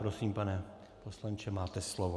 Prosím, pane poslanče, máte slovo.